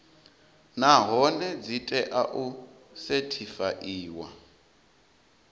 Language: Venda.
nahone dzi tea u sethifaiwa